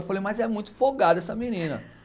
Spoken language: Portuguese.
Eu falei, mas é muito folgada essa menina,